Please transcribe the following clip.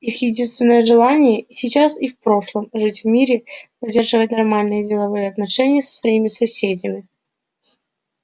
их единственное желание и сейчас и в прошлом жить в мире и поддерживать нормальные деловые отношения со своими соседями